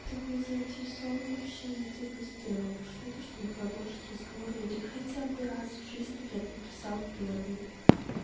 ты был заинтересован в общении ты бы сделал что-то чтобы продолжить разговор или хотя бы раз в жизни блять написал первый